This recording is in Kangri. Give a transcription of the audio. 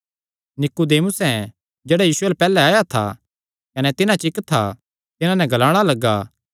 नीकुदेमुसें जेह्ड़ा यीशु अल्ल पैहल्ले आया था कने तिन्हां च इक्क था तिन्हां नैं ग्लाणा लग्गा